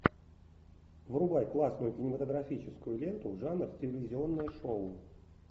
врубай классную кинематографическую ленту жанр телевизионное шоу